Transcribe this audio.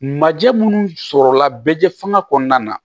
Majɛ minnu sɔrɔla bɛ fanga kɔnɔna na